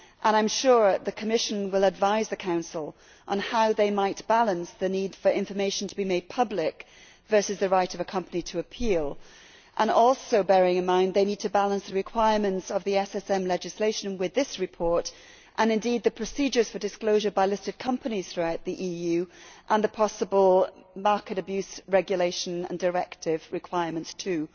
I am sure the Commission will advise the Council on how they might balance the need for information to be made public versus the right of a company to appeal, also bearing in mind that they need to balance the requirements of the SSM legislation with this report, and indeed the procedures for disclosure by listed companies throughout the EU and the possible market abuse regulation and directive requirements too.